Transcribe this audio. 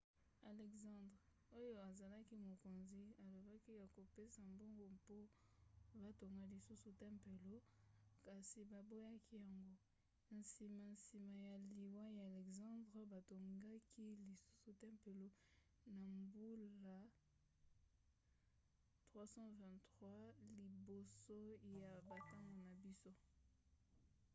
alexandre oyo azalaki mokonzi alobaki akopesa mbongo mpo batonga lisusu tempelo kasi baboyaki yango. na nsima nsima ya liwa ya alexandre batongaki lisusu tempelo na mbula 323 liboso ya bantango na biso